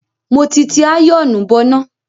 Mo ti ti àyọ̀ọ̀nù bọná.